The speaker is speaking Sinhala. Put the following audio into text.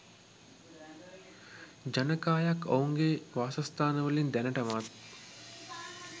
ජනකායක් ඔවුන්ගේ වාසස්ථානවලින් දැනටමත්